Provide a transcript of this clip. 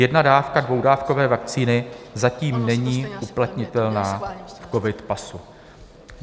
Jedna dávka dvoudávkové vakcíny zatím není uplatnitelná v covid pasu.